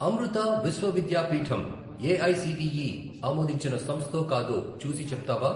అమృతా విశ్వ విద్యాపీఠంఏఐసిటిఈ ఆమోదించిన సంస్థో కాదో చూసి చెప్తావా?